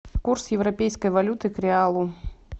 курс европейской валюты к реалу